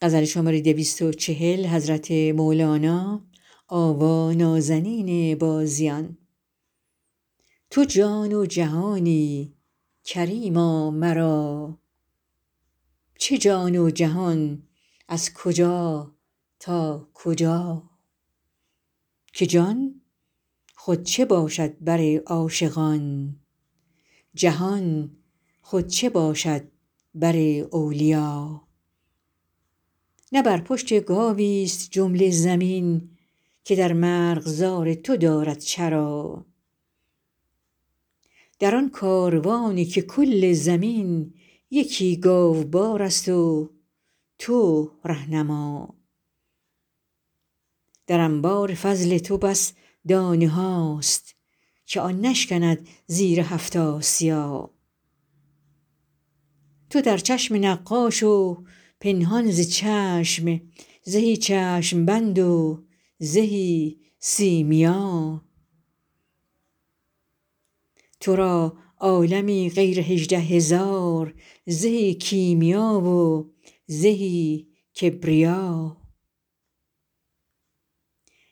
تو جان و جهانی کریما مرا چه جان و جهان از کجا تا کجا که جان خود چه باشد بر عاشقان جهان خود چه باشد بر اولیا نه بر پشت گاویست جمله زمین که در مرغزار تو دارد چرا در آن کاروانی که کل زمین یکی گاوبارست و تو ره نما در انبار فضل تو بس دانه هاست که آن نشکند زیر هفت آسیا تو در چشم نقاش و پنهان ز چشم زهی چشم بند و زهی سیمیا تو را عالمی غیر هجده هزار زهی کیمیا و زهی کبریا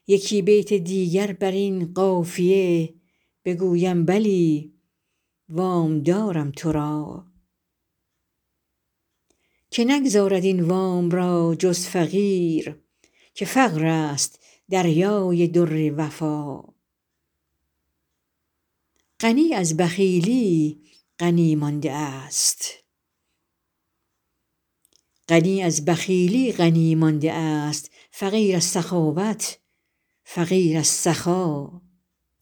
یکی بیت دیگر بر این قافیه بگویم بلی وام دارم تو را که نگزارد این وام را جز فقیر که فقرست دریای در وفا غنی از بخیلی غنی مانده ست فقیر از سخاوت فقیر از سخا